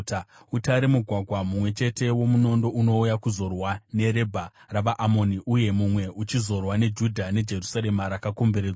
Utare mugwagwa mumwe chete womunondo unouya kuzorwa neRabha ravaAmoni uye mumwe uchizorwa neJudha neJerusarema rakakomberedzwa.